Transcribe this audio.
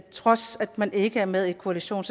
trods af at man ikke er med i koalitionen